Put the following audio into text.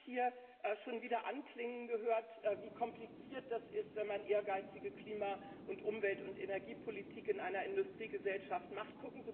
Ich habe hier schon wieder anklingen gehört, wie kompliziert das ist, wenn man ehrgeizige Klima Umwelt und Energiepolitik in einer Industriegesellschaft macht.